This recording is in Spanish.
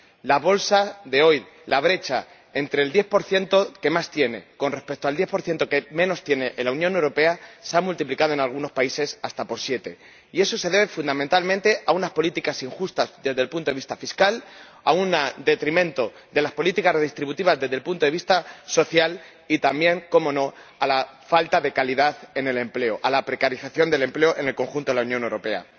La bolsa de hoy, la brecha entre el 10 que más tiene con respecto al 10 que menos tiene en la Unión Europea se ha multiplicado en algunos países hasta por siete, y eso se debe fundamentalmente a unas políticas injustas desde el punto vista fiscal, en detrimento de las políticas redistributivas desde el punto de vista social, y también, cómo no, a la falta de calidad en el empleo, a la precarización del empleo en el conjunto de la Unión Europea.